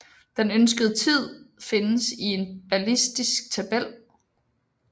Den ønskede tid findes i en ballistisk tabel